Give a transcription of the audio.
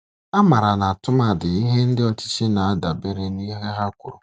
A mara na tụmadi ihe ndị ọchịchị na-adabere n'ihe ha kwuru.